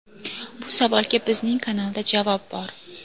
Bu savolga bizning kanalda javob bor.